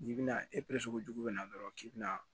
N'i bɛna sugujugu bɛ na dɔrɔn k'i bɛna